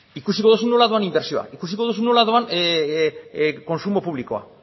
ikusiko duzu nola doan inbertsioa ikusiko duzu nola doan kontsumo publikoa